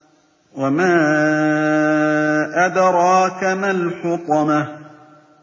وَمَا أَدْرَاكَ مَا الْحُطَمَةُ